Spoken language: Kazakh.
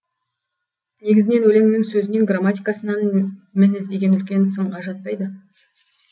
негізінен өлеңнің сөзінен грамматикасынан мін іздеген үлкен сынға жатпайды